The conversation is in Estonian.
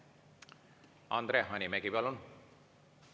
Andre Hanimägi, palun!